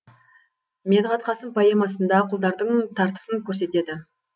медғат қасым поэмасында құлдардың тартысын көрсетеді